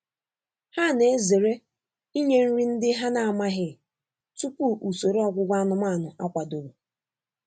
Ha na-ezere inye nri ndị ha na-amaghị tupu usoro ọgwụgwọ anụmanụ akwadoro.